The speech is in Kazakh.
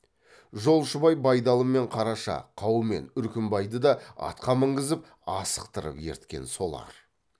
жолшыбай байдалы мен қараша қаумен үркімбайды да атқа мінгізіп асықтырып ерткен солар